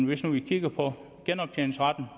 hvis man nu kigger på genoptjeningsretten og